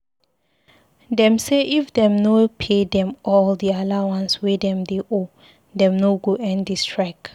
Dem say if dem no pay dem all di allowance wey dem dey owe, dem no go end di strike.